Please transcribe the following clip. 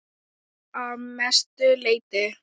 Að mestu leyti